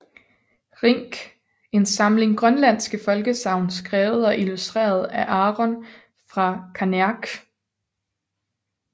Rink en samling grønlandske folkesagn skrevet og illustreret af Aron fra Kangeq